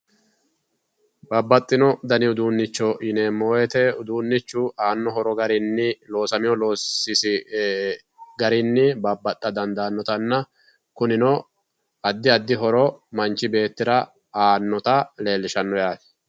bababxino dani uduunnicho yineemmo wote uduunnichu aanno horo garinni loosamino loosisi garinni babbaxa dandaannotanna kunino addi addi horo manchi beettira aannota leellishanno yaate.